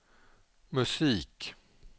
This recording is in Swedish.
musik